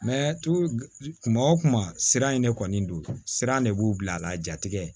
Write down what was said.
kuma o kuma siran in ne kɔni don siran de b'u bila a la jatigɛ